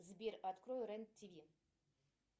сбер открой рен тв